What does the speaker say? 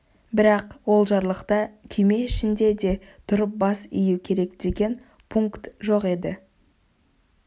бірақ ол жарлықта күйме ішінде де тұрып бас ию керек деген пункт жоқ еді